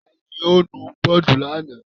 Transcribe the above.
Ta ni ó nu bọ́ọ́dù lánàá?